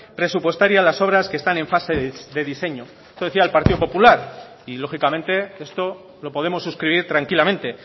presupuestaria las obras que están en fase de diseño esto decía el partido popular y lógicamente esto lo podemos suscribir tranquilamente